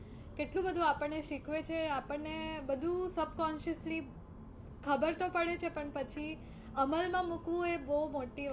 કેટલું બધું આપણને શીખવે છે, આપણને બધું subconsciously ખબર તો પડે છે પણ પછી અમલ માં મૂકવું એ બહુ મોટી